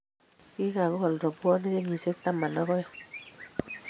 kikokool robwoniek kenyisiek taman ak aeng